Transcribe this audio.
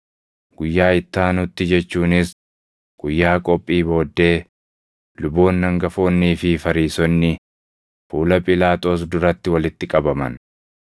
Guyyaa itti aanutti jechuunis guyyaa qophii booddee luboonni hangafoonnii fi Fariisonni fuula Phiilaaxoos duratti walitti qabaman.